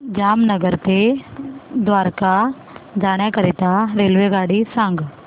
जामनगर ते द्वारका जाण्याकरीता रेल्वेगाडी सांग